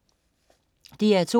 DR2: